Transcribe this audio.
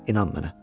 İnan mənə.